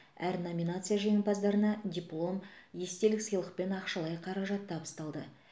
әр номинация жеңімпаздарына диплом естелік сыйлық пен ақшалай қаражат табысталды